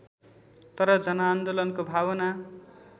तर जनआन्दोलनको भावना